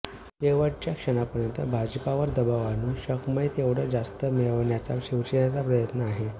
शेवटच्या क्षणापर्यंत भाजपवर दबाव आणून शक्मय तेवढं जास्त मिळविण्याचा शिवसेनेचा प्रयत्न आहे